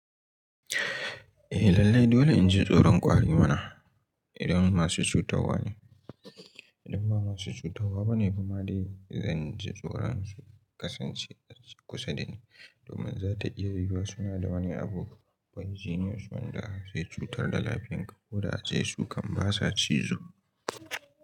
Eh lallai dole inji tsoron ƙwari mana idan masu cutarwa ne idan ba masu cutarwa bane kuma dai zanji tsoron su kasance kusa dani domin zata iya yiwuwa suna da wani abu baijine su wanda zai cutar da lafiyan ka ko da ace su kan basa cizo.